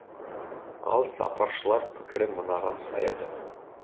ал сарапшылар пікірі мынаған саяды